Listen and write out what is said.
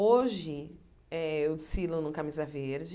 Hoje, eh eu desfilo no camisa verde.